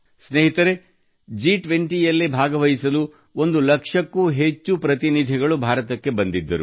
ಸ್ನೇಹಿತರೇ ಜಿ20 ಯಲ್ಲಿ ಭಾಗವಹಿಸಲು ಒಂದು ಲಕ್ಷಕ್ಕೂ ಹೆಚ್ಚು ಪ್ರತಿನಿಧಿಗಳು ಭಾರತಕ್ಕೆ ಬಂದಿದ್ದರು